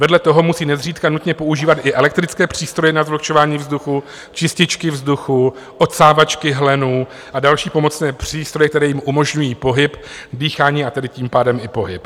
Vedle toho musí nezřídka nutně používat i elektrické přístroje na zvlhčování vzduchu, čističky vzduchu, odsávačky hlenů a další pomocné přístroje, které jim umožňují pohyb, dýchání, a tedy tím pádem i pohyb.